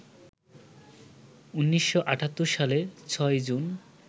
১৯৭৮ সালের ৬ই জুন